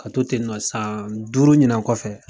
Ka to ten nɔ san duuru ɲinan kɔfɛ.